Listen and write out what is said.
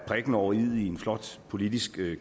prikken over iet i en flot politisk